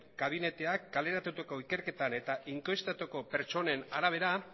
gabineteak kaleratutako ikerketan eta inkestatutako pertsonen arabera